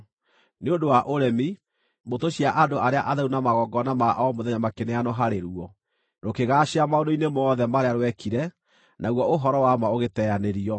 Nĩ ũndũ wa ũremi, mbũtũ cia andũ arĩa atheru na magongona ma o mũthenya makĩneanwo harĩ ruo. Rũkĩgaacĩra maũndũ-inĩ mothe marĩa rwekire, naguo ũhoro wa ma ũgĩteanĩrio.